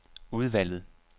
udvalget